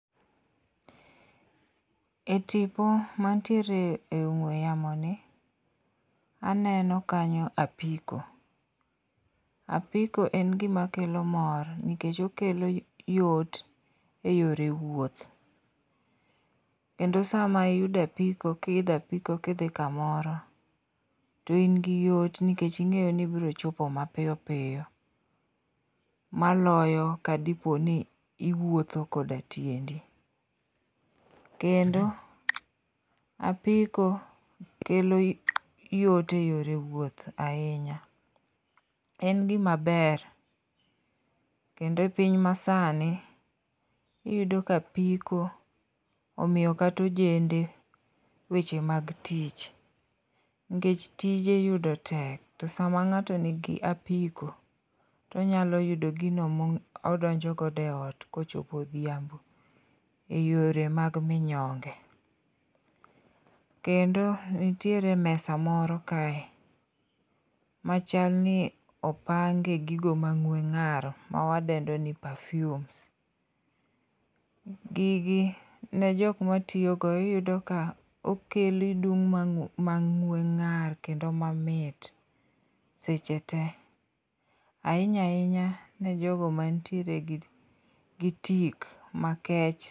E tipo mantiere e ong'we yamoni, aneno kanyo apiko, apiko en gimakelo mor nikech okelo yot e yore wuoth, kendo sama iyudo apiko kiidho apiko kidhi kamoro, to in gi yot nikech ing'eyo ni ibiro chopo mapiyo piyo, maloyo kadipo ni iwuotho koda tiendi, kendo apiko kelo yot e yore wuoth ahinya. En gimaber kendo e piny masani, iyudo ka apiko omiyo kata ojende weche mag tich, nikech tije yudo tek, to sama ng'ato nigi apiko tonyalo yudo gino modonjo godo e ot, kochopo odhiambo eyore mag minyonge, kendo nitiere mesa moro kae, machalni opange gigo mang'we ng'aro mawadendo ni perfume. Gigi, ne joka matiyogo iyudo ka okelo idum mang'we ng'ar kendo mamit seche te, ahinya ahinya ne jogo manitiere gi tik makech.